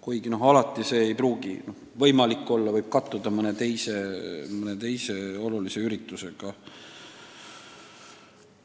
kuigi alati see ei pruugi võimalik olla – see võib kattuda mõne teise olulise üritusega.